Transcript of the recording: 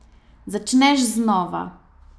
Začneš znova.